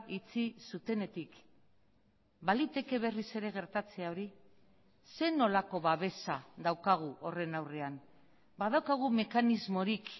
itxi zutenetik baliteke berriz ere gertatzea hori zer nolako babesa daukagu horren aurrean badaukagu mekanismorik